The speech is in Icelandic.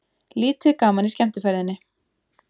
Lítið gaman í skemmtiferðinni